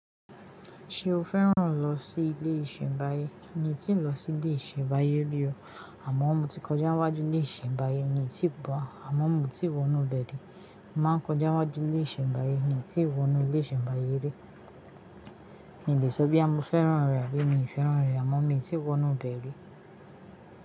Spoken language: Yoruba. Ṣé o féràn lọ sí ilé ìsẹ̀mbáyé? Mì o tí n lọ sí ilé ìsẹ̀mbáyé rí o, àmọ́ mo ti kọjá wáju ilé ìsẹ̀mbáyé, mi o ti ba, àmọ́ mo ti wo inú bẹ̀ ri. Mo ma n kọjá wáju ilé ìsẹ̀mbáyé, mo ti wo inú ilé ìsẹ̀mbáyé rí. Mi le sọ bíya moo féràn rẹ̀, Abi mii fèràn re, àmọ́ mi tí wo inú bẹ̀ ri.